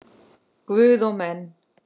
Guð og menn.